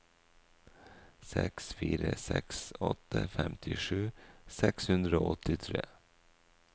seks fire seks åtte femtisju seks hundre og åttitre